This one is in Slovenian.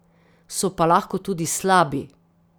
So pa lahko tudi slabi.